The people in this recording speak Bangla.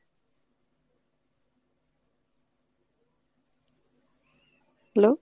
hello.